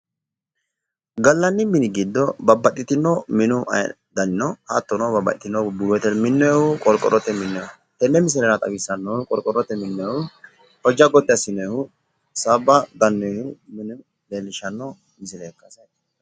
Gallanni mini giddo babbaxino minu dani no. Hattono babbaxino buuyyote minnonihuna qorqorrote minoonnihu. Tenne misilera xawissannohu qorqorrote minnonihu hojja gotti assinoonihu sabba gannoyihu minu leellishshanno misileeti.